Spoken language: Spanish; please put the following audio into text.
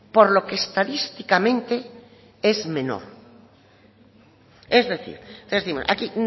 por lo que estadísticamente es menor es decir aquí